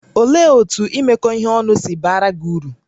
Olee otú imekọ ihe ọnụ si baara gị uru?